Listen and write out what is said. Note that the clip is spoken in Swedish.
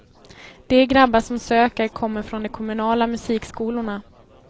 De grabbar som söker kommer från de kommunala musikskolorna.